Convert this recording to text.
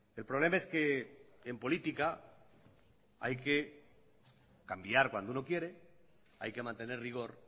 el problema es que en política hay que cambiar cuando uno quiere hay que mantener rigor